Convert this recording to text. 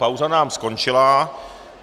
Pauza nám skončila.